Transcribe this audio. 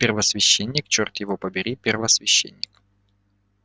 первосвященник чёрт его побери первосвященник